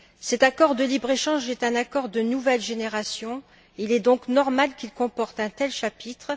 Cet accord de libre échange est un accord de nouvelle génération, il est donc normal qu'il comporte un tel chapitre.